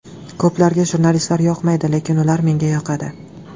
Ko‘plarga jurnalistlar yoqmaydi, lekin ular menga yoqadi.